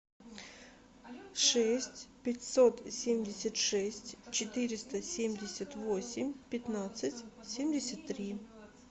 шесть пятьсот семьдесят шесть четыреста семьдесят восемь пятнадцать семьдесят три